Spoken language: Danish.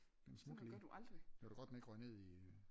Den smuttede lige. Det var da godt den ikke røg ned i